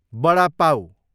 बडा पाउ